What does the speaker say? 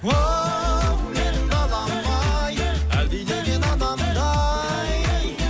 оу менің далам ай әлдилеген анамдай